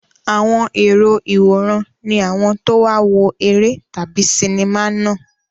Àwọn èrò ìwòran ni àwọn tó wá wo eré tàbí sinimá náà.